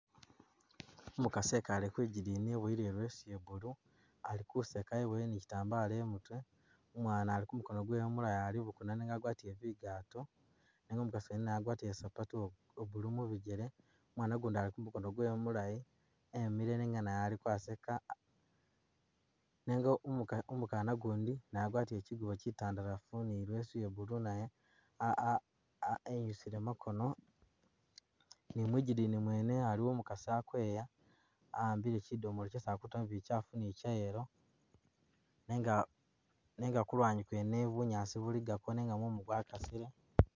Umukasi wekale kwi gidini weboyele ileso iye blue ali kuseka eboyele ne kitambala imutwe, umwana ali kumukono kwewe umulala ali bukuna nenga wagwatile zingato nenga umukasi mwene naye agwatile sapato uwo blue mubijele, umwana ugundi ali kumukono kwewe mulayi emile nenga naye ali kuseka, nenga umuka umukana ugundi agwatile kyikubo kyitandalafu ne ilesu iye blue nayo, ah ah ah enyusile makono ni mwigidini mwene aliyo umukasi ali kweya aambile shidomolo shesi ali kutamo bikyafu ni chayelo nenga nenga kulwanyi kwene bunyaasi bulikako nenga mumu gwakasile.